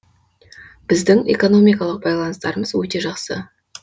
біздің экономикалық байланыстарымыз өте жақсы